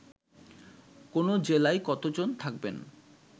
কোন জেলায় কতজন থাকবেন